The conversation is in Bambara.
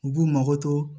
U b'u mago to